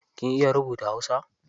Kin iya rubutun hausa?